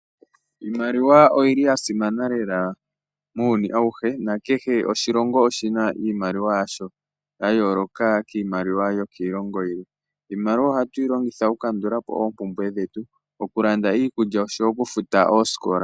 Iimaliwa oyili ya simana lela muuyuni awuhe nakehe oshilongo oshina iimaliwa yasho ya yooloka kiimaliwa yokiilongo yilwe. Iimaliwa ohatu yilongitha oku kandulapo oompumbwe dhetu. Okulanda iikulya oshowo okufuta oosikola.